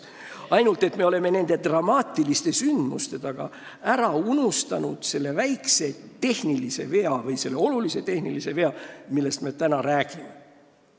Ainult et me oleme nende dramaatiliste sündmuste taustal unustanud ära selle väikse, kuid olulise tehnilise vea, millest me täna räägime.